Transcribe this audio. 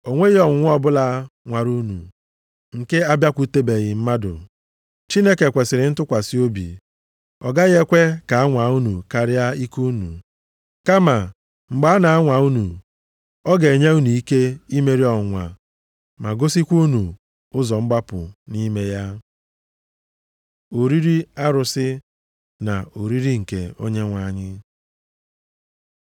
O nweghị ọnwụnwa ọbụla nwara unu nke abịakwutebeghị mmadụ. Chineke kwesiri ntụkwasị obi, ọ gaghị ekwe ka a nwaa unu karịa ike unu. Kama mgbe a na-anwa unu, ọ ga-enye unu ike imeri ọnwụnwa ma gosikwa unu ụzọ mgbapụ nʼime ya. Oriri arụsị na Oriri nke Onyenwe anyị + 10:14 Ụfọdụ na-akpọ ya Oriri nsọ.